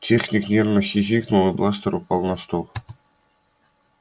техник нервно хихикнул и бластер упал на стол